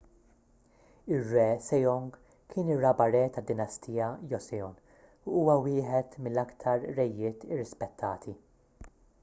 ir-re sejong kien ir-raba' re tad-dinastija joseon u huwa wieħed mill-aktar rejiet irrispettati